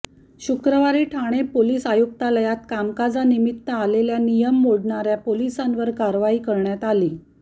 शुक्रवारी ठाणे पोलीस आयुक्तालयात कामकाजानिमित्त आलेल्या नियम मोडणार्या पोलिसांवर कारवाई करण्यात आली